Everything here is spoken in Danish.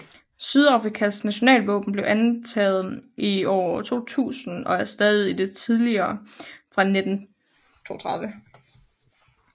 Sydafrikas nationalvåben blev antaget i år 2000 og erstattede det tidligere fra 1932